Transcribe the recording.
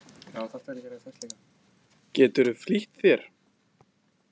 Geturðu flýtt þér.